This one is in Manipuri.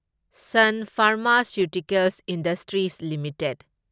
ꯁꯨꯟ ꯐꯥꯔꯃꯥꯁꯤꯌꯨꯇꯤꯀꯦꯜꯁ ꯏꯟꯗꯁꯇ꯭ꯔꯤꯁ ꯂꯤꯃꯤꯇꯦꯗ